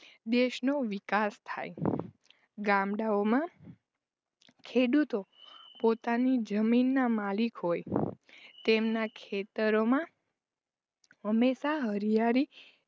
દેશનો વિકાસ થાય ગામડાઓમાં ખેડૂતો પોતાની જમીનના માલિક હોય તેમના ખેતરોમાં હંમેશા હરિયાળી